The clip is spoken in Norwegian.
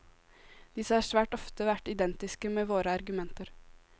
Disse har svært ofte vært identiske med våre argumenter.